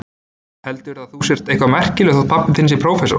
Heldurðu að þú sért eitthvað merkilegur þótt pabbi þinn sé prófessor.